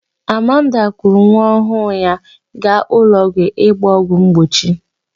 Amanda kuru nwaọhụụ ya gaa ụlọọgwụ ịgba ọgwụ mgbochi.